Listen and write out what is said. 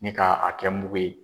Ni ka a kɛ muku ye.